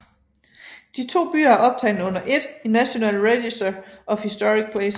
De to byer er optaget under ét i National Register of Historic Places